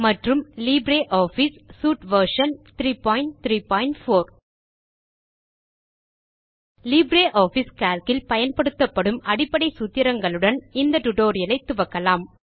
மற்றும் LibreOffice suite version 334 LibreOffice Calc இல் பயன்படுத்தப்படும் அடிப்படை சூத்திரங்களுடன் இந்த டியூட்டோரியல் ஐ துவக்கலாம்